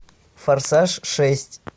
форсаж шесть